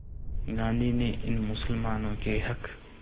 गांधी ने इन मुसलमानों के हक़